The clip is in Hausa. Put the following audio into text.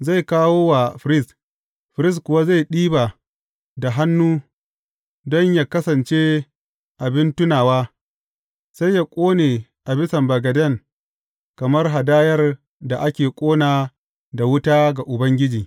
Zai kawo wa firist, firist kuwa zai ɗiba da hannu don yă kasance abin tunawa, sai yă ƙone a bisan bagaden kamar hadayar da ake ƙona da wuta ga Ubangiji.